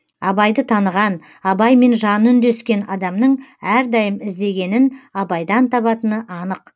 абайды таныған абаймен жаны үндескен адамның әрдайым іздегенін абайдан табатыны анық